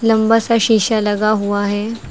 लंबा सा शीशा लगा हुआ है।